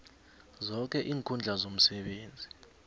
zoke iinkhundla zomsebenzi